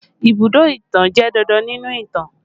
Ibùdó ìtàn jẹ́ dandan nínú ìtàn